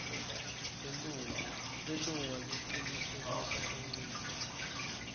lilunga lecinisekisa kuncika